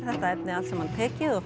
þetta efni allt saman tekið og